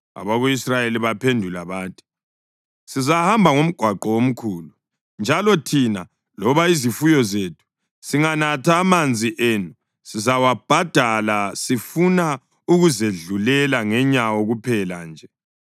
Abako-Israyeli baphendula bathi: “Sizahamba ngomgwaqo omkhulu, njalo thina loba izifuyo zethu singanatha amanzi enu, sizawabhadala. Sifuna ukuzedlulela ngenyawo kuphela nje.”